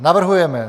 Navrhujeme: